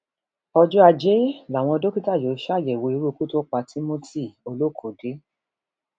ọjọ ajé làwọn dókítà yóò ṣàyẹwò irú ikú tó pa timothyolókòde